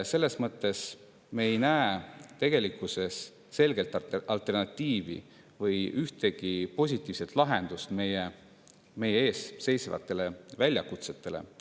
Selles mõttes me ei näe tegelikkuses selget alternatiivi või ühtegi positiivset lahendust meie ees seisvatele väljakutsetele.